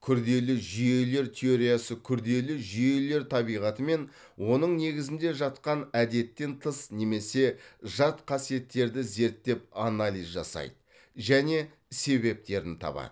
күрделі жүйелер теориясы күрделі жүйелер табиғаты мен оның негізінде жатқан әдеттен тыс немесе жат қасиеттерді зерттеп анализ жасайды және себептерін табады